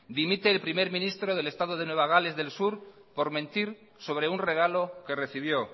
dimite el primer ministro del estado de nueva gales del sur por mentir sobre un regalo que recibió